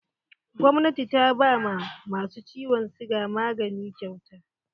Gwamnati ta ba ma masu ciwon siga magani kyauta.